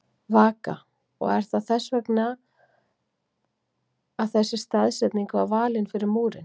Vaka: Og er það þess vegna þess að þessi staðsetning var valin fyrir múrinn?